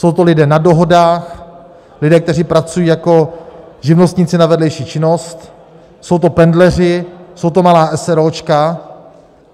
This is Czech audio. Jsou to lidé na dohodách, lidé, kteří pracují jako živnostníci na vedlejší činnost, jsou to pendleři, jsou to malá eseróčka.